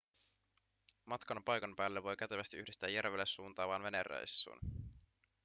matkan paikan päälle voi kätevästi yhdistää järvelle suuntaavaan venereissuun